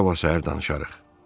Sabah səhər danışarıq.